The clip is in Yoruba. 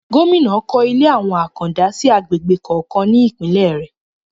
Gómìnà kọ́ ilé ìwé àwọn àkàndá sí agbègbè kọ̀ọ̀kan ní Ìpínlẹ̀ rẹ̀